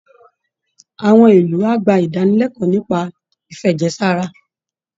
Àwọn ìlú á gba ìdánilẹ́kọ̀ọ́ nípa ìfẹ̀jẹ̀ sára